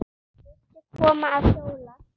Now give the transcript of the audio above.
Viltu koma að hjóla?